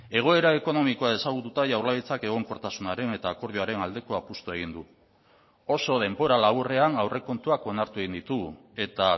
egoera ekonomikoa ezagututa jaurlaritzak egonkortasunaren eta akordioaren aldeko apustua egin du oso denbora laburrean aurrekontuak onartu egin ditugu eta